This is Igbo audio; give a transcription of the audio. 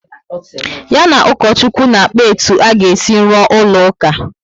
Ya na ukochukwu na-akpa etu a ga esi rụọ ụlọ uka